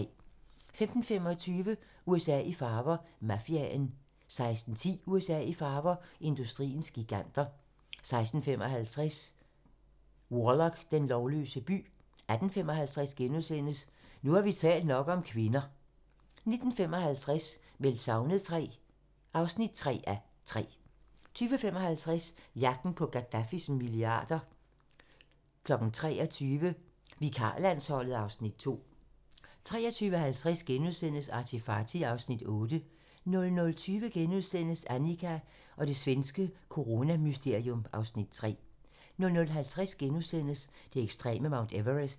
15:25: USA i farver - Mafiaen 16:10: USA i farver - industriens giganter 16:55: Warlock - den lovløse by 18:55: Nu har vi talt nok om kvinder * 19:55: Meldt savnet III (3:3) 20:55: Jagten på Gadaffis milliarder 23:00: Vikarlandsholdet (Afs. 2) 23:50: ArtyFarty (Afs. 8)* 00:20: Annika og det svenske coronamysterium (Afs. 3)* 00:50: Det ekstreme Mount Everest *